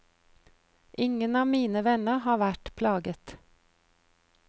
Ingen av mine venner har vært plaget.